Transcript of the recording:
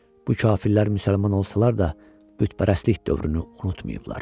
Bu kafirlər müsəlman olsalar da, bütpərəstlik dövrünü unutmayıblar.